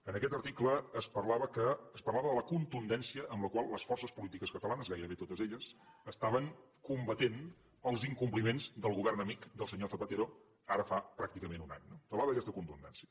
en aquest article es parlava de la contundència amb la qual les forces polítiques catalanes gairebé totes elles estaven combatent els incompliments del govern amic del senyor zapatero ara fa pràcticament un any parlava d’aquesta contundència